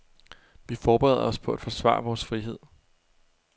Vi forbereder os på at forsvare vores frihed.